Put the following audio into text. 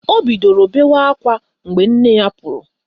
O bidoro bewa ákwá mgbe nne ya pụrụ